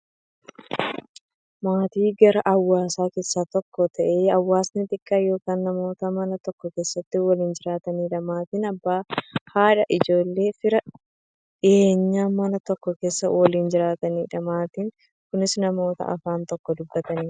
Maatiin garaa hawaasaa keessaa tokko ta'ee, hawaasa xiqqaa yookin namoota Mana tokko keessaa waliin jiraataniidha. Maatiin Abbaa, haadha, ijoolleefi fira dhiyeenyaa, Mana tokko keessaa waliin jiraataniidha. Maatiin kunnis, namoota afaan tokko dubbataniidha.